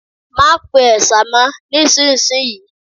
Má pe ẹ̀sà mọ ní ìsinsìnyí